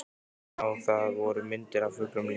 Man að það voru myndir af fuglum líka.